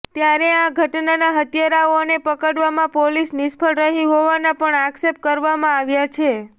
ત્યારે આ ઘટનાના હત્યારાઓને પકડવામાં પોલીસ નિષ્ફળ રહી હોવાના પણ આક્ષેપ કરવામાં આવ્યા છે